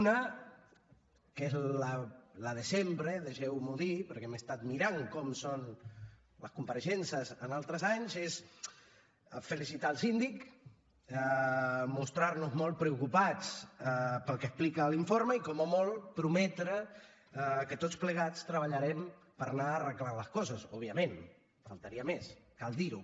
una que és la de sempre deixeu m’ho dir perquè m’he estat mirant com són les compareixences en altres anys és felicitar el síndic mostrar nos molt preocupats pel que explica l’informe i com a molt prometre que tots plegats treballarem per anar arreglant les coses òbviament faltaria més cal dir ho